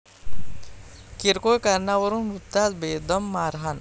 किरकोळ कारणावरून वृद्धास बेदम मारहाण